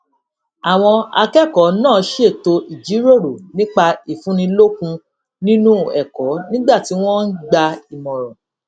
àwọn akẹkọọ náà ṣètò ìjíròrò nípa ìfúnnilókun nínú ẹkọ nígbà tí wọn ń gba ìmọràn